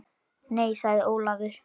Nei sagði Ólafur.